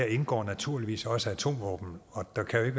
indgår naturligvis også atomvåben og der kan